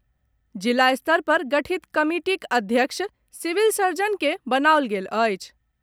जिला स्तर पर गठित कमिटीक अध्यक्ष सिविल सर्जन के बनाओल गेल अछि।